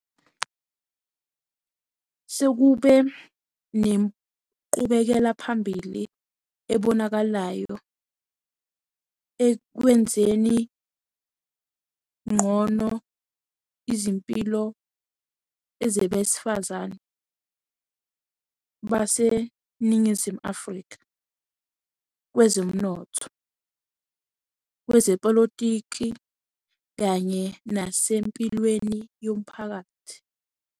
Sekube nenqubekelaphambili ebonakalayo ekwenzeni ngcono izimpilo zabesifazane baseNingizimu Afrika kwezomnotho, kwezepolitiki kanye nasempilweni yomphakathi.